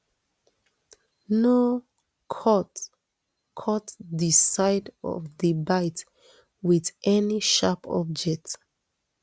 no cut cut di side of di bite wit any sharp object